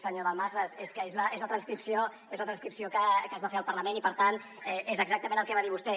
senyor dalmases és que és la transcripció que es va fer al parlament i per tant és exactament el que va dir vostè